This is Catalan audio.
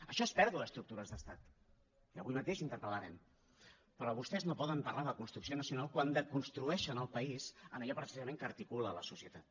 això és pèrdua d’estructures d’estat i avui mateix interpel·vostès no poden parlar de construcció nacional quan desconstrueixen el país en allò precisament que articula la societat